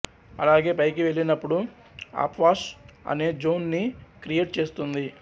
అలాగే పైకి వెళ్ళినప్పుడు అప్వాష్ అనే జోన్ ని క్రియేట్ చేస్తుంది